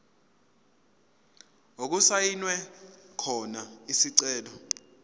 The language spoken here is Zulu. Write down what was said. okusayinwe khona isicelo